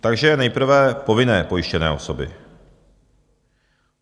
Takže nejprve povinně pojištěné osoby.